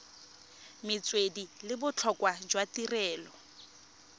metswedi le botlhokwa jwa tirelo